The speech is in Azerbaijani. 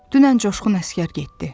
Dünən Coşqun əsgər getdi.